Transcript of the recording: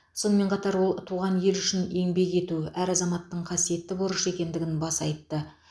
сонымен қатар ол туған ел үшін еңбек ету әр азаматтың қасиетті борышы екендігін баса айтты